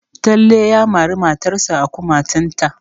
Talle ya mari matarsa a kumatunta.